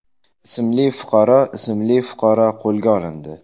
ismli fuqaro ismli fuqaro qo‘lga olindi.